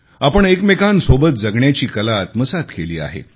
आपण एकमेकांसोबत जगण्याची कला आत्मसात केली आहे